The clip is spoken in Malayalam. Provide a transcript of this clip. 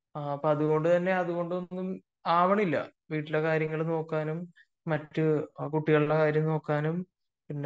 അത് കൊണ്ട് തന്നെ അതുകൊണ്ടൊന്നും ആവുന്നില്ല വീട്ടിലെ കാര്യം നോക്കാനും മറ്റു കുട്ടികളുടെ കാര്യം നോക്കാനും